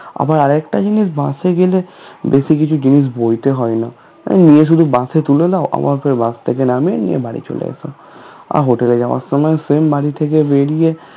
আবার আরেকটা জিনিস bus এ গেলে বেশি কিছু জিনিস বইতে হয় না ও নিয়ে শুধু bus এ তুলে দাও আবার সেই bus থেকে নামিয়ে নিয়ে বাড়ি চলে আসো আর hotel এ যাওয়ার সময় সেই বাড়ি থেকে বেরিয়ে